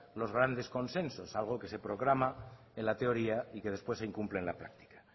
los grandes consensos algo que se proclama en la teoría y que después se incumple en la práctica